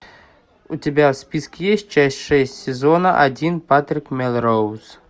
у тебя в списке есть часть шесть сезона один патрик мелроуз